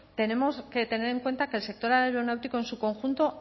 tenemos que tener en cuenta que el sector aeronáutico en su conjunto